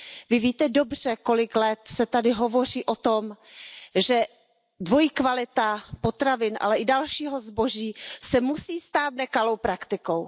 Vy víte dobře, kolik let se tady hovoří o tom, že dvojí kvalita potravin, ale i dalšího zboží se musí stát nekalou praktikou.